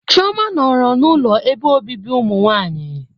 Chioma nọrọ n'ụlọ ebe obibi ụmụnwanyị.